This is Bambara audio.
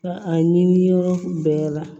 Ka a ɲini yɔrɔ bɛɛ la